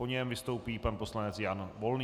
Po něm vystoupí pan poslanec Jan Volný.